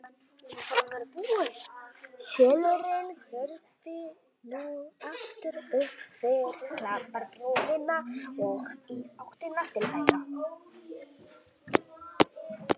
Selurinn horfði nú aftur upp fyrir klapparbrúnina og í áttina til þeirra.